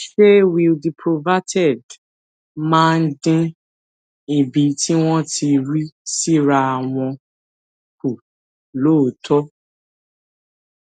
ṣé wiil diprovaterd máa ń dín ibi tí wón ti rí síra wọn kù lóòótó